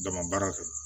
Dama baara kɛ